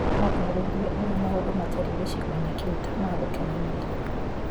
Aataarĩirie ũrĩa maũndũ matariĩ gĩcigo-inĩ kĩu ta magokenania.